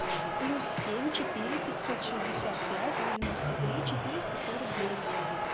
плюс семь четыре пятьсот шестьдесят пять девяносто три четыреста сорок девять